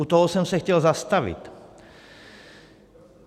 U toho jsem se chtěl zastavit.